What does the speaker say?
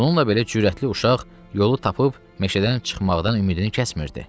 Bununla belə cürətli uşaq yolu tapıb meşədən çıxmaqdan ümidini kəsmirdi.